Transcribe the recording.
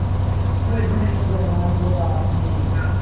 थे धन्य जवान वो आपने